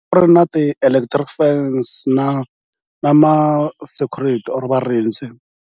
A ku ri na ti-electric fence na na ma-security or varindzi.